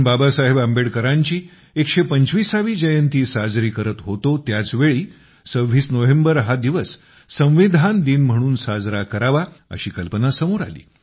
बाबासाहेब आंबेडकरांची 125 वी जयंती साजरी करत होतो त्याच वेळी 26 नोव्हेंबर हा दिवस संविधान दिन म्हणून साजरा करावा अशी कल्पना समोर आली